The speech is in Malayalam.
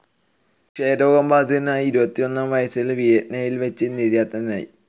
ക്ഷയരോഗബാധിതനായി ഇരുപത്തിയൊന്നാം വയസ്സിൽ വീയന്നയിൽ വെച്ച് നിര്യാതനായി.